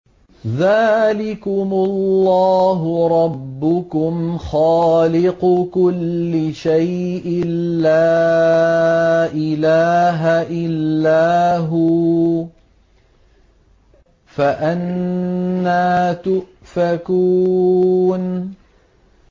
ذَٰلِكُمُ اللَّهُ رَبُّكُمْ خَالِقُ كُلِّ شَيْءٍ لَّا إِلَٰهَ إِلَّا هُوَ ۖ فَأَنَّىٰ تُؤْفَكُونَ